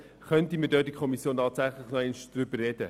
Wir könnten in der Kommission nochmals über diese Frage sprechen.